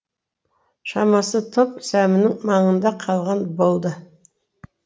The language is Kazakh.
шамасы топ сәмінің маңында қалған болды